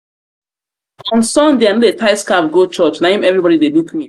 on sunday i no tie scarf go church na im everybody dey look me.